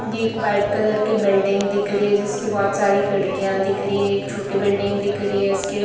एक white colour की building दिख रही है जिसकी बहुत सारी खिड़कियाँ दिख रही हैं एक छोटी बिल्डिंग दिख रही है उसके --